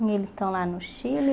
E eles estão lá no Chile?